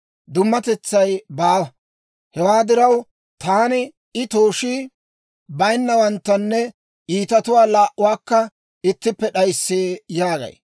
Dummatetsay baawa; hewaa diraw, taani, ‹I tooshii bayinnawanttanne iitatuwaa laa"uwaakka ittippe d'ayissee› yaagay.